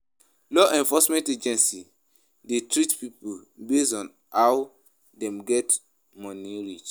Law enforcement agency de treat pipo based on how dem get money reach